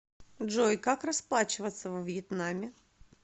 джой как расплачиваться во вьетнаме